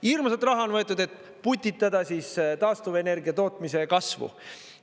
Hirmsat raha on võetud, et putitada taastuvenergia tootmise kasvu.